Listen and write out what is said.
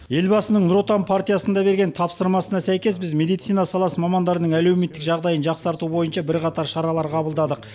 елбасының нұр отан партиясында берген тапсырмасына сәйкес біз медицина саласы мамандарының әлеуметтік жағдайын жақсарту бойынша бірқатар шаралар қабылдадық